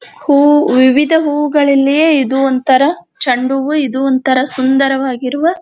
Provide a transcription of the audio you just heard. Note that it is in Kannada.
ಹೂವು ವಿವಿಧ ಹೂವುಗಳಲ್ಲಿ ಇದು ಒಂತರ ಚಂಡ ಹೂವು ಇದು ಒಂತರ ಸುಂದರವಾಗಿರುವ --